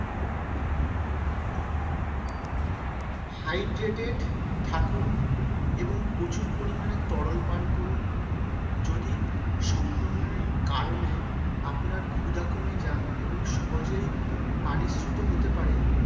Hydrated থাকুন এবং প্রচুর পরিমাণে তরল পান করুন যদি সংক্রমণের কারণে আপনার ক্ষুধা কমে যায় এবং সহজেই পানিশূন্য হতে পারে।